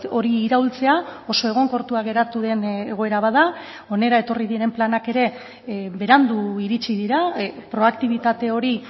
hori iraultzea oso egonkortua geratu den egoera bat da hona etorri diren planak ere berandu iritsi dira proaktibitate hori